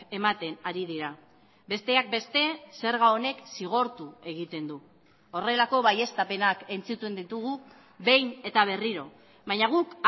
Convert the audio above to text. ematen ari dira besteak beste zerga honek zigortu egiten du horrelako baieztapenak entzuten ditugu behin eta berriro baina guk